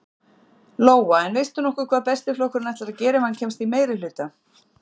Lóa: En veistu nokkuð hvað Besti flokkurinn ætlar að gera, ef hann kemst í meirihluta?